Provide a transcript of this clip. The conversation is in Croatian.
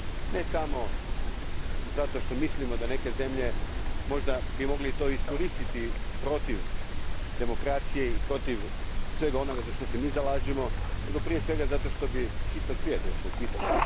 Ne samo zato što mislimo da bi neke zemlje to možda mogle iskoristiti protiv demokracije i protiv svega onoga za što se mi zalažemo, nego prije svega zato što bi čitav svijet došao u pitanje.